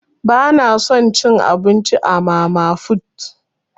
Bana son cin abinci a mama fut.